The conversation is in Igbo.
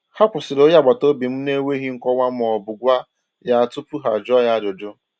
Ha kwụsịrị onye agbata obi m n’enweghị nkọwa ma ọ bụ gwa ya tupu ha jụọ ya ajụjụ.